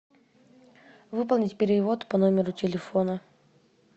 выполнить перевод по номеру телефона